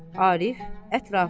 Arif, ətrafa.